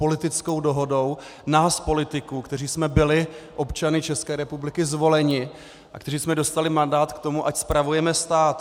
Politickou dohodou nás politiků, kteří jsme byli občany České republiky zvoleni a kteří jsme dostali mandát k tomu, ať spravujeme stát.